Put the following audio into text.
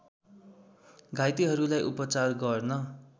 घाइतेहरूलाई उपचार गर्न